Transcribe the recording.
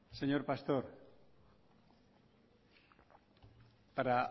señor pastor para